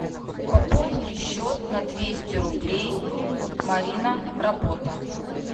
пополни счет на двести рублей марина работа